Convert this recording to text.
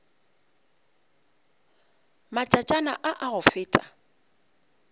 matšatšana a a go feta